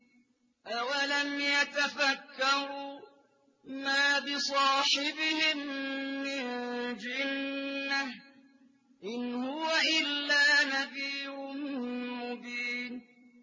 أَوَلَمْ يَتَفَكَّرُوا ۗ مَا بِصَاحِبِهِم مِّن جِنَّةٍ ۚ إِنْ هُوَ إِلَّا نَذِيرٌ مُّبِينٌ